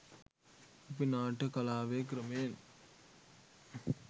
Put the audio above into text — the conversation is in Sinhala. අපි නාට්‍ය කලාවේ ක්‍රමයෙන්